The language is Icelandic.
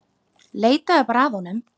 Leitaðu bara að honum.